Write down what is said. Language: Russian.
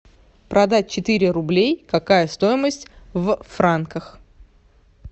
продать четыре рублей какая стоимость в франках